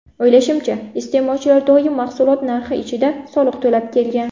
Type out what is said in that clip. O‘ylashimcha, iste’molchilar doim mahsulot narx ichida soliq to‘lab kelgan.